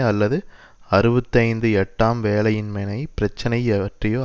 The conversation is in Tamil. அல்லது அறுபத்தி ஐந்து எட்டாம் வேலையின்மை பிரச்சினை பற்றியோ